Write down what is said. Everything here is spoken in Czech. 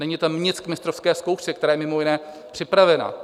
Není tam nic k mistrovské zkoušce, která je mimo jiné připravená.